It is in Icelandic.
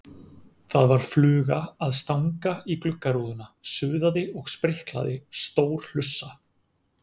Það var fluga að stanga í gluggarúðuna, suðaði og spriklaði, stór hlussa.